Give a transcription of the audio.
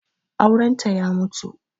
Aurenta ya mutu